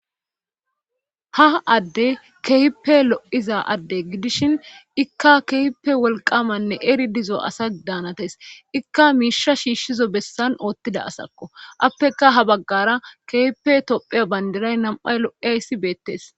ha adde kehippe lo7iza adde gidishin ikka kehpe wolqamanne eri dizo asa daanates ikka miisha shiishshizo bessan oottida asakko appeka ha baggara kehpe tophe bandiray nam7ay lo7eay si beettes